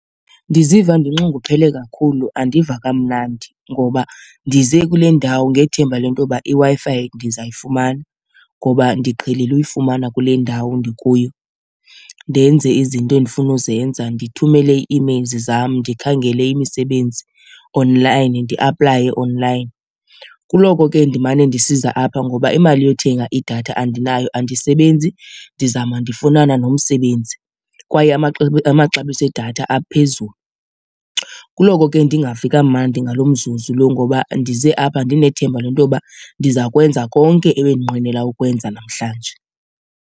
Ndiziva ndinxunguphele kakhulu, andiva kamnandi ngoba ndize kule ndawo ngethemba le nto yoba iWi-Fi ndizayifumana ngoba ndiqhelile ukuyifumana kule ndawo ndikuyo ndenze izinto endifuna ukuzenza, ndithumele ii-emails zam, ndikhangele imisebenzi online ndiaplaye online. Kuloko ke ndimane ndisiza apha ngoba imali yothenga idatha andinayo andisebenzi, ndizama ndifunana nomsebenzi kwaye amaxabiso edatha aphezulu. Kuloko ke ndingavi kamandi ngalo mzuzu lo ngoba ndize apha ndinethemba le nto yoba ndiza kwenza konke ebendinqwenela ukwenza namhlanje.